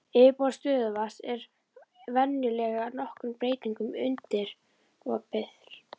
Yfirborð stöðuvatna er venjulega nokkrum breytingum undirorpið.